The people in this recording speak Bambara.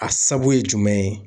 A sabu ye jumɛn ye?